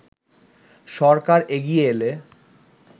সরকার এগিয়ে এলে